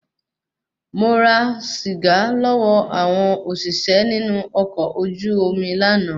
Mo ra sìgá lọ́wọ́ àwọn òṣìṣẹ́ inu ọkọ̀ ojú omi lànà